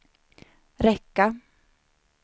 räcka